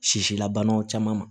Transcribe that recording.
Sisilabanaw caman ma